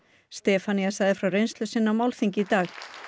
Stefanía sagði frá reynsl u sinni á málþingi í dag